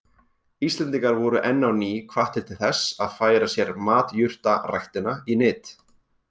Íslendingar voru enn á ný hvattir til þess að færa sér matjurtaræktina í nyt.